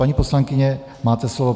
Paní poslankyně, máte slovo.